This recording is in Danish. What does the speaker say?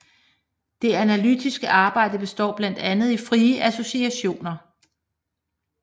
Det analytiske arbejde består blandt andet i frie associationer